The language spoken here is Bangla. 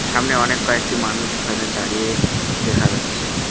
সামনে অনেক কয়েকটি মানুষ এখানে দাঁড়িয়ে দেখা যাচ্ছে।